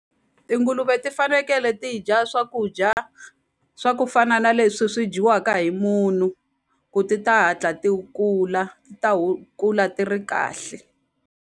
Tinguluve ti fanekele ti dya swakudya swa ku fana na leswi swi dyiwaka hi munhu ku ti ta hatla ti kula ti ta kula ti ri kahle.